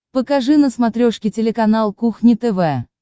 покажи на смотрешке телеканал кухня тв